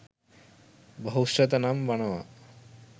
බහුශ්‍රැත නම් වනවා.